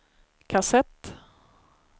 kassett